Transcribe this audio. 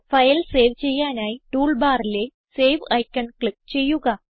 file save ചെയ്യാനായി tool ബാറിലെ save icon click ചെയ്യുക